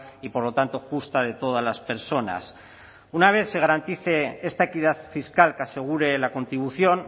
y por lo tanto justa de todas las personas una vez se garantice esta equidad fiscal que asegure la contribución